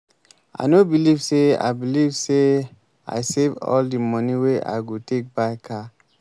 i no believe say i believe say i save all the money wey i go take buy car